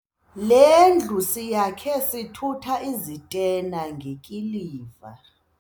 Le ndlu siyakhe sithutha izitena ngekiliva.